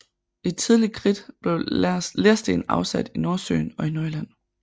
I Tidlig Kridt blev lersten afsat i Nordsøen og i Nordjylland